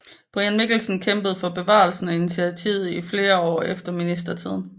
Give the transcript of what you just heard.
Brian Mikkelsen kæmpede for bevarelsen af initiativet i flere år efter ministertiden